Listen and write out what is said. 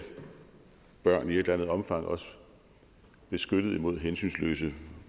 børn i et eller andet omfang også beskyttet mod hensynsløse